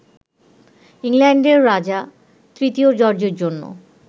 ইংল্যান্ডের রাজা তৃতীয় জর্জের জন্য